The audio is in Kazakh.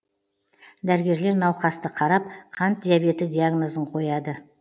дәрігерлер науқасты қарап қант диабеті диагнозын қояды